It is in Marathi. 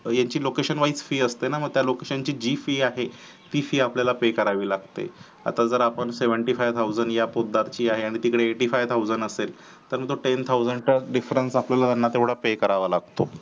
ह्याची location wise fees असते ना location ची जी fees आहे ती fee आपल्याला pay करावी लागते आता जर आपण seventy five thousand ह्या पोतदार ची आहे आणि तिकडे eighty five thousand असेल तर तो ten thousand चा difference आपल्याला तो pay करावा लागतो.